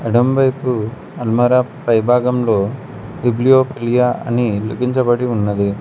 ఎడమవైపు అల్మారా పైభాగంలో టిబ్లీయో ప్లియ అని లిఖించబడి ఉన్నది.